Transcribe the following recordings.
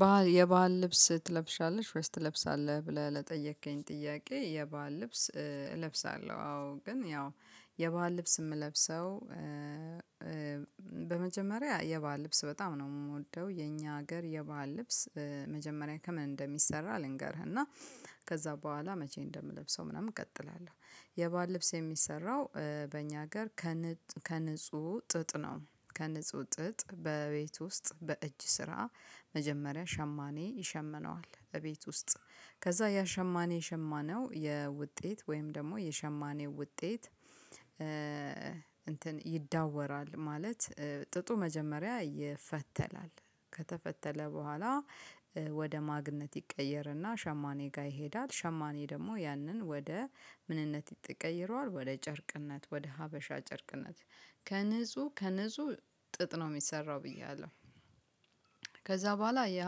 ባህል የባህል ልብስ ትለብሻለሽ ወይስ ትለብሳለህ ብለህ ለጠየከኝ ጥያቄ የባህል ልብስ እለብሳለሁ አዎ ግን ያው የባህል ልብስ የምለብሰው። በመጀመሪያ የባህል ልብስ በጣም ነው የምወደው የኛ ሀገር የባህል ልብስ መጀመሪያ ከምን እንደሚሰራ ልንገርህ። ከዛ በኋላ መቼ እንደምለብሰው ምናምን እቀጥላለሁ የባህል ልብስ የሚሰራው በእኛ ሀገር። ከንጹህ ጥጥ ነው ከንጹህ ጥጥ በቤት ውስጥ በእጅ ስራ። መጀመሪያ ሸማኔ ይሸመነዋል እቤት ውስጥ ከዛ ያሸማኔ የሸማነው የውጤት ወይም ደግሞ የሸማኔ ውጤት። እንትን ይዳወራል ማለት ጥጡ መጀመሪያ ይፈተላል። ከተፈተለ በኋላ ወደ ማግነት ይቀየርና ሸማኔ ጋር ይሄዳል። ሸማኔ ደግሞ ያንን ወደ ምንነት ይቀይረዋል ወደ ጨርቅነት ወደ ሀበሻ ጨርቅነት። ከንጹህ ከንጹህ ጥጥ ነው የሚሰራው ብዬ አለው። ከዛ በኋላ ያ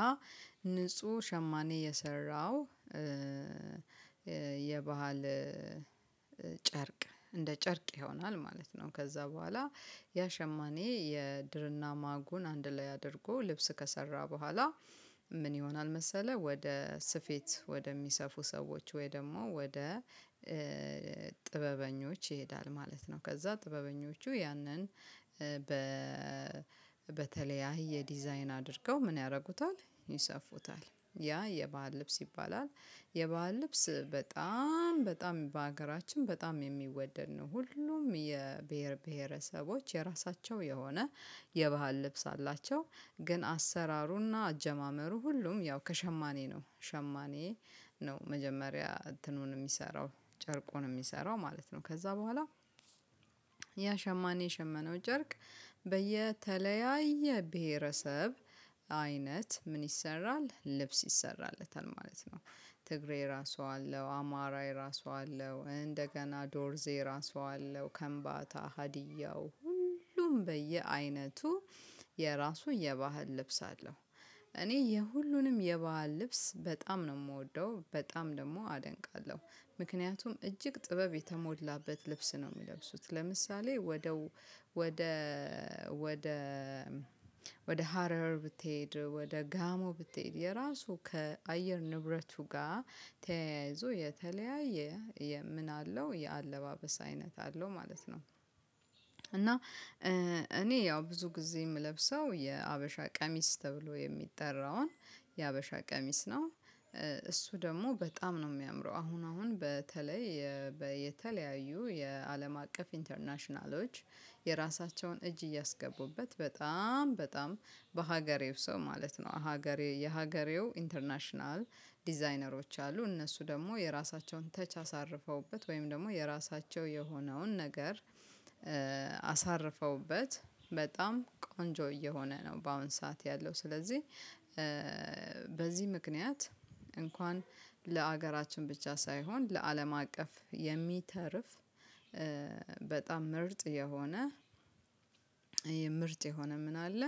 ንጹህ ሸማኔ የሰራው የባህል ጨርቅ እንደ ጨርቅ ይሆናል ማለት ነው። ከዛ በኋላ ያ ሸማኔ የድርና ማጉን አንድ ላይ አድርጎ ልብስ ከሰራ በኋላ። ምን ይሆናል መሰለህ ወደ ስፌት ወደሚሰፉ ሰዎች ወይ ደግሞ ወደ ጥበበኞች ይሄዳል ማለት ነው። ከዛ ጥበበኞቹ ያንን በተለያየ ዲዛይን አድርገው ምን ያደርጉታል ይሰፉታል ያ የባህል ልብስ ይባላል። የባህል ልብስ በጣም በጣም በሀገራችን በጣም የሚወደድ ነው ሁሉም የብሄር ብሄረሰቦች የራሳቸው የሆነ የባህል ልብስ አላቸው። ግን አሰራሩና አጀማመሩ ሁሉም ያው ከሸማኔ ነው ሸማኔ ነው መጀመሪያ እንትኑን የሚሰራው ጨርቁን የሚሰራው ማለት ነው። ከዛ በኋላ ያ ሸማኔ የሸመነው ጨርቅ በየተለያየ ብሄረሰብ አይነት ምን ይሰራል ልብስ ይሰራለታል ማለት ነው። ትግሬ ራሱ አለው አማራ የራሱ አለው እንደገና ዶርዜ የራሱ አለው ከንባታ ሀዲያው ሁሉም በየአይነቱ የራሱ የባህል ልብስ አለው። እኔ የሁሉንም የባህል ልብስ በጣም ነው የምወደው በጣም ደግሞ አደንቃለሁ ምክንያቱም እጅግ ጥበብ የተሞላበት ልብስ ነው። የሚለብሱት ለምሳሌ ወደ ወደ ወደ ወደ ሀረር ብትሄድ ወደ ጋሞ ብትሄድ የራሱ ከአየር ንብረቱ ጋር ተያይዞ የተለያየ ምን አለው የአለባበስ አይነት አለው ማለት ነው። እና እኔ ያው ብዙ ጊዜ የምለብሰው የሀበሻ ቀሚስ ተብሎ የሚጠራውን የሀበሻ ቀሚስ ነው። እሱ ደግሞ በጣም ነው የሚያምረው አሁን አሁን በተለይ የተለያዩ የአለም አቀፍ ኢንተርናሽናሎች የራሳቸውን እጅ እያስገቡበት በጣም በጣም በሀገሬው ሰው ማለት ነው። ሀገሬ የሀገሬው ኢንተርናሽናል ዲዛይነሮች አሉ እነሱ ደግሞ የራሳቸውን ተች አሳርፈውበት ወይም ደግሞ የራሳቸው የሆነውን ነገር። አሳርፈውበት በጣም ቆንጆ እየሆነ ነው በአሁን ሰዓት ያለው። ስለዚህ በዚህ ምክንያት እንኳን ለሀገራችን ብቻ ሳይሆን ለአለም አቀፍ የሚተርፍ በጣም ምርጥ የሆነ የምርጥ የሆነ ምን አለ።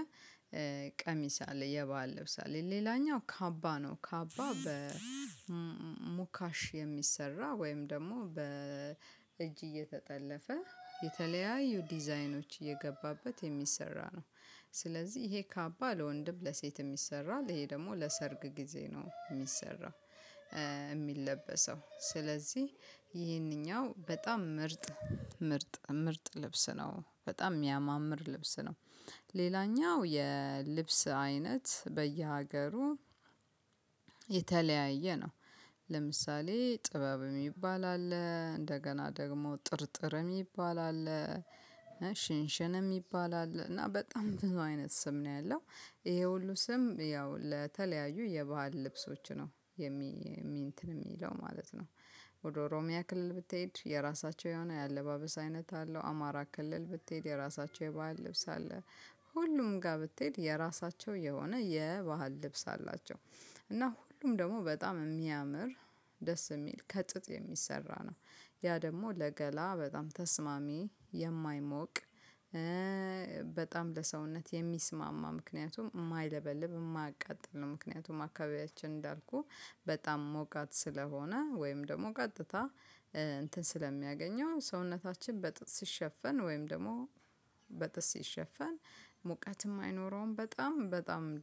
ቀሚስ አለ የባህል ልብስ አለ ሌላኛው ካባ ነው ካባ በሙካሽ የሚሰራ ወይም ደግሞ በእጅ እየተጠለፈ የተለያዩ ዲዛይኖች እየገባበት የሚሰራ ነው። ስለዚህ ይሄ ካባ ለወንድም ለሴት ይሰራል ይሄ ደግሞ ለሰርግ ጊዜ ነው የሚሰራው። የሚለበሰው ስለዚህ ይሄንኛው በጣም ምርጥ ምርጥ ምርጥ ልብስ ነው በጣም የሚያማምር ልብስ ነው። ሌላኛው የልብስ አይነት በየሀገሩ የተለያየ ነው። ለምሳሌ ጥበብ የሚባል አለ እንደገና ደግሞ ጥርጥር የሚባል አለ ሽንሽን የሚባል አለ እና በጣም ብዙ አይነት ስም ነው ያለው። ይሄ ሁሉ ስም ያው ለተለያዩ የባህል ልብሶች ነው የሚለው ማለት ነው። ወደ ኦሮሚያ ክልል ብትሄድ የራሳቸው የሆነ የአለባበስ አይነት አለው አማራ ክልል ብትሄድ የራሳቸው የባህል ልብስ አለ። ሁሉም ጋር ብትሄድ የራሳቸው የሆነ የባህል ልብስ አላቸው። እና ሁሉም ደግሞ በጣም የሚያምር ደስ የሚል ከጥጥ የሚሰራ ነው። ያ ደግሞ ለገላ በጣም ተስማሚ የማይሞቅ በጣም ለሰውነት የሚስማማ ምክንያቱም የማይለበልብ የማያቃጥል ነው። ምክንያቱም አካባቢያችን እንዳልኩህ በጣም ሞቃት ስለሆነ ወይም ደግሞ ቀጥታ እንትን ስለሚያገኘው ሰውነታችን በጥጥ ሲሸፈን ወይም ደግሞ በጥጥ ሲሸፈን። ሙቀትም አይኖረውም በጣም በጣም ደግሞ